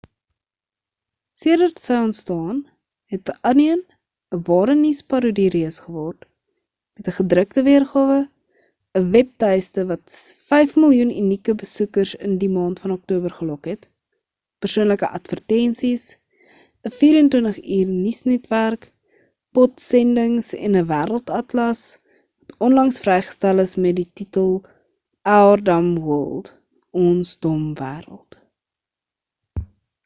sedert sy ontstaan het the onion ‘n ware nuusparodie-reus geword met ‘n gedrukte weergawe ‘n webtuiste wat 5 000 000 unieke besoekers in die maand van oktober gelok het persoonlike advertensies ‘n 24-uur-nuusnetwerk podsendings en ‘n wêreldatlas wat onlangs vrygestel is met die titel our dumb world ons dom wêreld